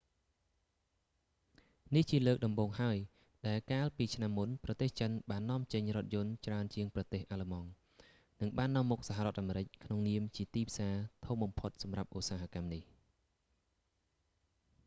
នេះជាលើកដំបូងហើយដែលកាលពីឆ្នាំមុនប្រទេសចិនបាននាំចេញរថយន្តច្រើនជាងប្រទេសអាល្លឺម៉ង់ និងបាននាំមុខសហរដ្ឋអាមេរិក ក្នុងនាមជាទីផ្សារធំបំផុតសម្រាប់ឧស្សាហកម្មនេះ